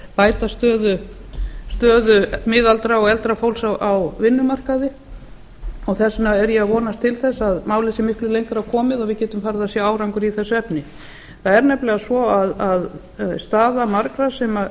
bæta stöðu miðaldra og eldra fólks á vinnumarkaði þess vegna er ég að vonast til þess að málið sé miklu lengra komið og við getum farið að sjá árangur í þessu efni það er nefnilega svo að staða margra